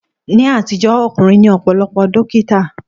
Ní àtijọ́, ọkùnrin ni ọ̀pọ̀lọpọ̀ dókítà.